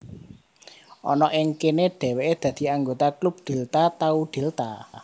Ana ing kene dheweke dadi anggota klub Delta Tau Delta